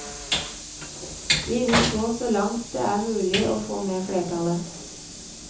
Vi vil gå så langt det er mulig å få med flertallet.